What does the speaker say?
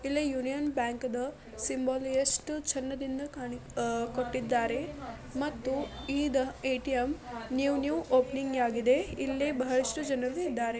ಇಲ್ಲಿ Union Bank ದು symbol ಎಷ್ಟು ಚೆಂದದಿಂದ ಕೊಟ್ಟಿದಾರೆ ಮತ್ತು ಇದು ಏ.ಟಿ.ಎಂ. ನ್ಯೂ ನ್ಯೂ ಓಪನಿಂಗ್ ಆಗಿದೆ ಇಲ್ಲಿ ಬಹಳಷ್ಟು ಜನರು ಇದ್ದಾರೆ.